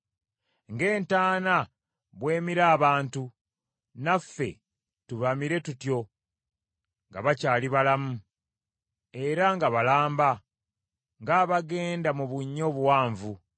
ng’entaana bw’emira abantu, naffe tubamire tutyo nga bakyali balamu, era nga balamba, ng’abagenda mu bunnya obuwanvu;